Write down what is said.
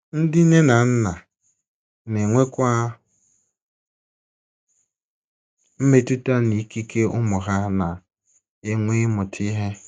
Ndị nne na nna na - enwekwa mmetụta n’ikike ụmụ ha na - enwe ịmụta ihe.